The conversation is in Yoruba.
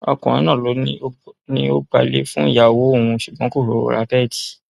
ọkùnrin náà ló ní ó gba ilé fúnyàwó òun ṣùgbọn kò rówó ra bẹẹdì